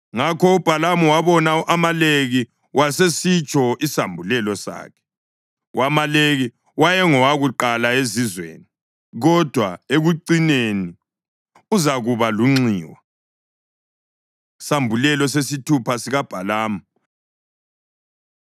Ngakho uBhalamu wabona u-Amaleki wasesitsho isambulelo sakhe: “U-Amaleki wayengowokuqala ezizweni, kodwa ekucineni uzakuba lunxiwa.” Isambulelo Sesithupha SikaBhalamu